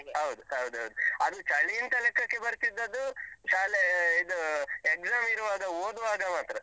ಹೌದು, ಹೌದೌದು. ಅಲ್ಲಿ ಚಳೀಂತ ಲೆಕ್ಕಕ್ಕೆ ಬರ್ತಿದ್ದದ್ದು ಶಾಲೆ ಇದು exam ಇರುವಾಗ, ಓದುವಾಗ ಮಾತ್ರ.